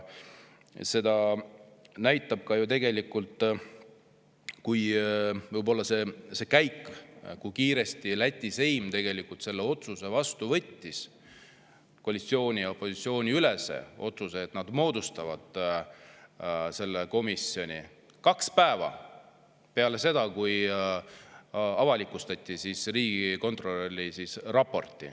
Seda näitab ka ju võib-olla see, kui kiiresti Läti seim selle otsuse vastu võttis, koalitsiooni ja opositsiooni ülese otsuse, et nad moodustavad selle komisjoni: kaks päeva peale seda, kui avalikustati riigikontrolli raport.